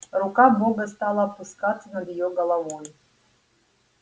рука бога стала опускаться над его головой